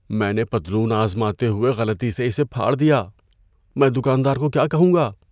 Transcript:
میں نے پتلون آزماتے ہوئے غلطی سے اسے پھاڑ دیا۔ میں دکاندار کو کیا کہوں گا؟